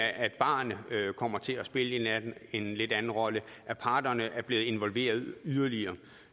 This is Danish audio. at barerne kommer til at spille en lidt anden rolle og at parterne er blevet involveret yderligere